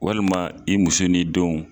Walima i muso ni denw